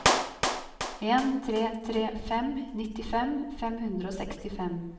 en tre tre fem nittifem fem hundre og sekstifem